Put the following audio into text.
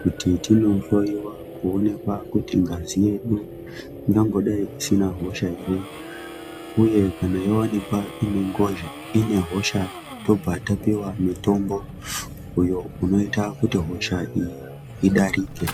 kuti tinohloyiwa koowenekwa kuti ngazi yedu ingangodai isina hosha ere uye kana yaonekwa ine hosa tobva tapiwa mutombo unoita kuti hosha iyi idarike.